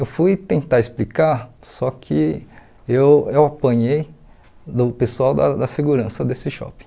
Eu fui tentar explicar, só que eu eu apanhei do pessoal da da segurança desse shopping.